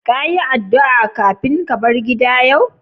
Ka yi addu'a kafin ka bar gida yau?